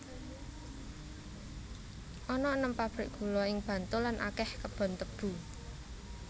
Ana enem pabrik gula ing Bantul lan akèh kebon tebu